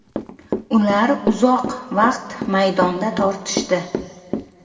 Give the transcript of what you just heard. Ular uzoq vaqt maydonda tortishdi.